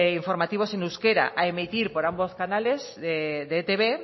informativos en euskera a emitir por ambos canales de etb